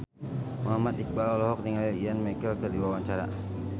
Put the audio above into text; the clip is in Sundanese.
Muhammad Iqbal olohok ningali Ian McKellen keur diwawancara